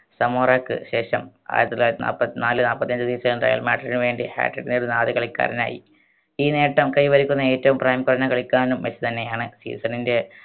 സമൂറക്ക് ശേഷം ആയിരത്തി തൊള്ളായിരത്തി നാപ്പത്ത് നാല് നാപ്പത്തഞ്ച്‌ season ൽ real മാഡ്രിഡ്ന് വേണ്ടി hat trick നേടുന്ന ആദ്യ കളിക്കാരനായി ഈ നേട്ടം കൈവരിക്കുന്ന ഏറ്റവും പ്രായം കുറഞ്ഞ കളിക്കാരനും മെസ്സി തന്നെയാണ് season ൻറെ